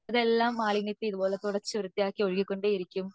എല്ലാ മാലിന്യത്തി ഇത്പോലെ തുടച്ച വൃത്തിയാക്കി ഒഴുകികൊണ്ടേ ഇരിക്കും